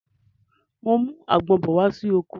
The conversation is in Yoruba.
Mo ń mú àgbon bọ̀ wá sí oko